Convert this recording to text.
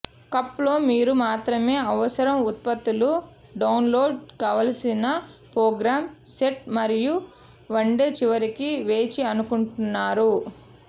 cup లో మీరు మాత్రమే అవసరం ఉత్పత్తులు డౌన్లోడ్ కావలసిన ప్రోగ్రామ్ సెట్ మరియు వండే చివరికి వేచి అనుకుంటున్నారా